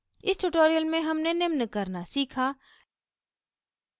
इस tutorial में हमने निम्न करना सीखा: